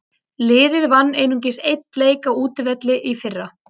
Liðið vann einungis einn leik á útivelli í fyrra.